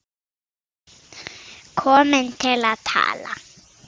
Komin til að tala.